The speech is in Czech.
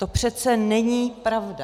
To přece není pravda.